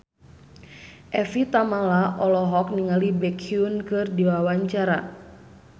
Evie Tamala olohok ningali Baekhyun keur diwawancara